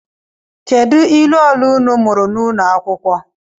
Kedu ilu ole unu mụrụ n’ụlọ akwụkwọ?